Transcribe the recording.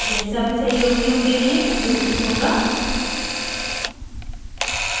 यह सभी सहयोगियों के लिए उपयोगी होगा